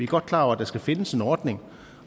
godt klar over at der skal findes en ordning